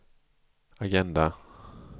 agenda